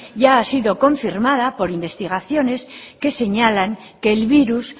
ya ha sido confirmada por investigaciones que señalan que el virus